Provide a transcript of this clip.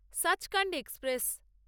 Sachkhand express